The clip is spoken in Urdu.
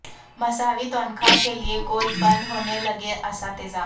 مساوی تنخواہ کے لئے گول بند ہونے لگے اساتذہ